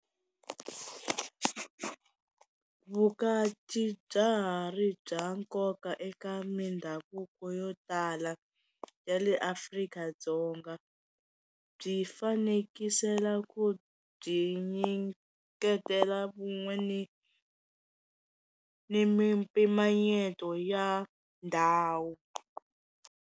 Vukati bya ha ri bya nkoka eka mindhavuko yo tala ya le Afrika-Dzonga byi fanekisela ku byi nyiketela vun'we ni ni mimpimanyeto ya ndhawu.